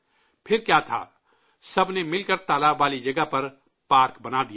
پھر کیا تھا، سب نے مل کر تالاب والی جگہ پر پارک بنا دیا